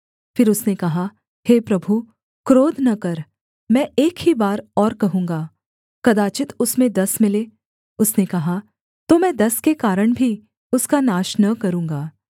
फिर उसने कहा हे प्रभु क्रोध न कर मैं एक ही बार और कहूँगा कदाचित् उसमें दस मिलें उसने कहा तो मैं दस के कारण भी उसका नाश न करूँगा